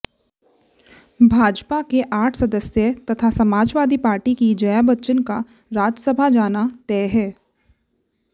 भाजपा के आठ सदस्यों तथा समाजवादी पार्टी की जया बच्चन का राज्यसभा जाना तय है